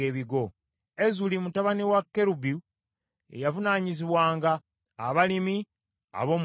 Ezuli mutabani wa Kerubu ye yavunaanyizibwanga abalimi ab’omu nnimiro.